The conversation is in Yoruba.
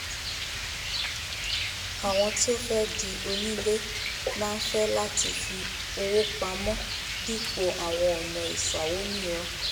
àwọn tí ó fé di onílé máá fẹ́ láti fi owó pamó dípò àwọ̀n ònà ìsawó mìíràn